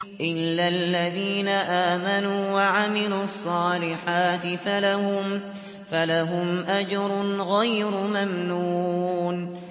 إِلَّا الَّذِينَ آمَنُوا وَعَمِلُوا الصَّالِحَاتِ فَلَهُمْ أَجْرٌ غَيْرُ مَمْنُونٍ